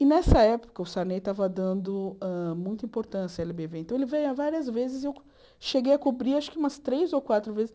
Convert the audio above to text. E nessa época o Sarney estava dando muita importância à éle bê vê, então ele veio várias vezes e eu cheguei a cobrir acho que umas três ou quatro vezes.